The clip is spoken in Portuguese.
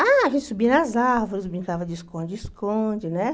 Ah, a gente subia nas árvores, brincava de esconde-esconde, né?